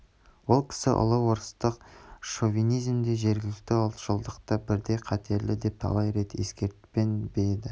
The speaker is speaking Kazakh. ол кісі ұлы орыстық шовинизм де жергілікті ұлтшылдық та бірдей қатерлі деп талай рет ескертпеп пе еді